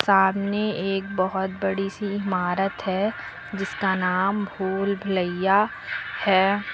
सामने एक बहोत बड़ी सी इमारत है जिसका नाम भूलभुलैया है।